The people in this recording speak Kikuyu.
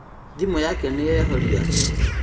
Thimũ yake nĩyehoria